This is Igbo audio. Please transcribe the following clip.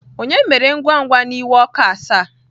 Ònye mere ngwa ngwa na iwe ọkụ asaa?